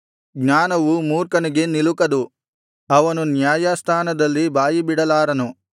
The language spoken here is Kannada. ಜ್ಞಾನವು ಮೂರ್ಖನಿಗೆ ನಿಲುಕದು ಅವನು ನ್ಯಾಯಸ್ಥಾನದಲ್ಲಿ ಬಾಯಿಬಿಡಲಾರನು